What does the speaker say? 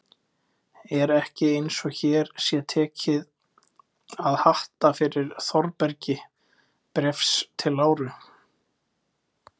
Er ekki eins og hér sé tekið að hatta fyrir Þórbergi Bréfs til Láru?